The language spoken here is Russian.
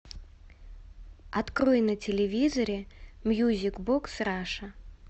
открой на телевизоре мьюзик бокс раша